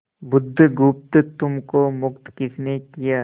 बुधगुप्त तुमको मुक्त किसने किया